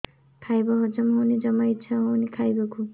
ଖାଇବା ହଜମ ହଉନି ଜମା ଇଛା ହଉନି ଖାଇବାକୁ